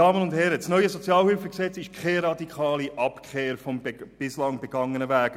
Das neue SHG ist keine radikale Abkehr vom bisher begangenen Weg.